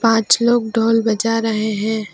पांच लोग ढोल बजा रहे हैं।